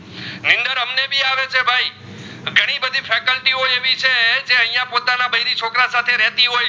અહિયાં પોતાના બારી છોકરા સાથે રહતી હોય